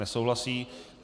Nesouhlasí.